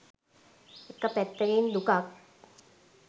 එක පැත්තකින් දුකක්